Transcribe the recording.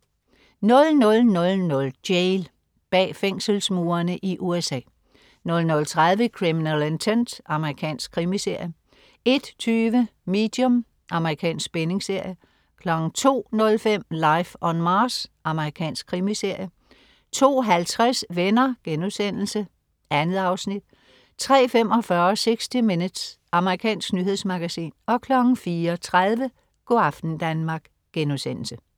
00.00 Jail. Bag fængselsmurene i USA 00.30 Criminal Intent. Amerikansk krimiserie 01.20 Medium. Amerikansk spændingsserie 02.05 Life on Mars. Amerikansk krimiserie 02.50 Venner.* 2 afsnit 03.45 60 Minutes. Amerikansk nyhedsmagasin 04.30 Go' aften Danmark*